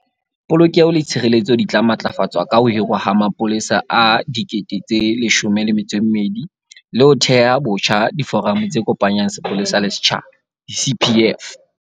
Polokeho le tshireletso di tla matlafatswa ka ho hirwa ha mapolesa a 12 000 le ho theha botjha diforamo tse kopanyang sepolesa le setjhaba di-CPF.